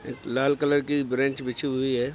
एक लाल कलर की ब्रेंच बिछी हुई है।